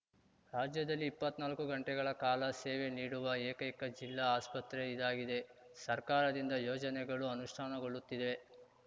ರಾಜ್ಯದಲ್ಲಿ ಇಪ್ಪತ್ನಾಲ್ಕು ಗಂಟೆಗಳ ಕಾಲ ಸೇವೆ ನೀಡುವ ಏಕೈಕ ಜಿಲ್ಲಾ ಆಸ್ಪತ್ರೆ ಇದಾಗಿದೆ ಸರ್ಕಾರದಿಂದ ಯೋಜನೆಗಳು ಅನುಷ್ಠಾನಗೊಳ್ಳುತ್ತಿವೆ